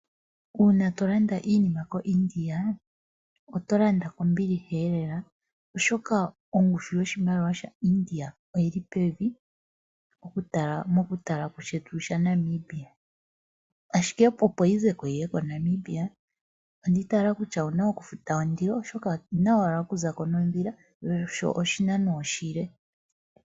Uuna to landa iinima koIndia oto landa kombiliha lela oshoka ongushu yoshimaliwa shaIndia oyili pevi mokutala kushetu shaNamibia, ashike opo yi ze ko yiye moNamibia ondi itayela kutya owuna okufuta ondilo, oshoka oyina owala okuza ko nondhila sho oshinano oshile.